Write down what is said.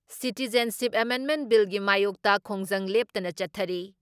Citizenship ꯑꯦꯃꯦꯟꯃꯦꯟ ꯕꯤꯜꯒꯤ ꯃꯥꯌꯣꯛꯇ ꯈꯣꯡꯖꯪ ꯂꯦꯞꯇꯅ ꯆꯠꯊꯔꯤ ꯫